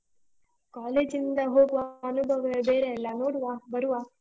College ಇಂದ ಹೋಗುವ ಅನುಭವವೇ ಬೇರೆ ಅಲ್ಲ, ನೋಡುವ ಬರುವ.